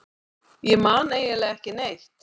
Ég man eiginlega ekki neitt.